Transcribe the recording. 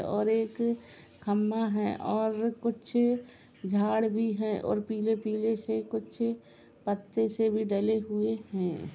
और एक खंबा है और कुछ झाड़ भी है और पीले पीले से कुछ पत्ते से भी डाले हुए हैं।